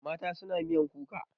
Mata suna miyan kuka.